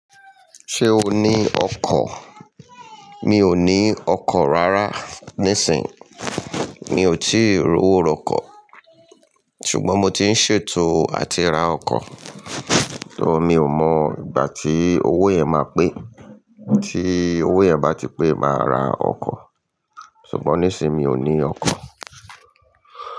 Ṣé o ní ọkọ̀? Mi ò ní ọkọ̀ rárá. Nísìń, mi ò tí ì rówó ra ọkọ̀. Ṣùgbọ́n mo ti ń ṣètò àti ra ọkọ̀. So mi ò mọ ìgbà tí owó yẹn ma pè. Tí owó yẹn bá ti pé, màá ra ọkọ̀. Ṣùgbọ́n nísìń, mi ò ní ọkọ̀.